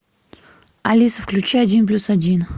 алиса включи один плюс один